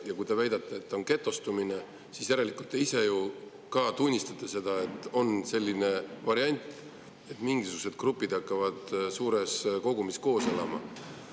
Ja kui te väidate, et on getostumine, siis järelikult te ise ju ka tunnistate seda, et on selline variant, et mingisugused grupid hakkavad suures kogumis koos elama.